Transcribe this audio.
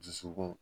Dusukun